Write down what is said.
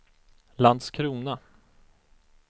Landskrona